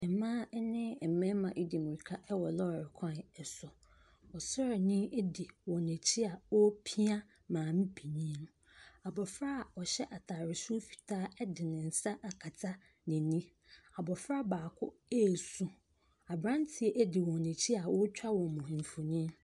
Mmaa ne mmarima di mmirika wɔ lɔɔre kwan so. Ɔsraani di wɔn akyi a ɔrepia maamepanin no. Abɔfra a ɔhyɛ atadeɛ soro fitaa de ne nsa akata n'ani. Abɔfra baako resu. Aberanteɛ di wɔn akyi a ɔretwa wɔn mfonin.